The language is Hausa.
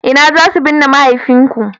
ina za su binne mahaifinku?